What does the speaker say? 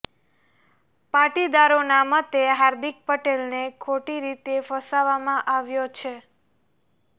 પાટીદારોના મતે હાર્દિક પટેલને ખોટી રીતે ફસવામાં આવ્યો છે